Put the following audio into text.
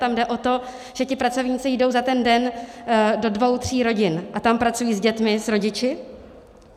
Tam jde o to, že ti pracovníci jdou za ten den do dvou tří rodin a tam pracují s dětmi, s rodiči.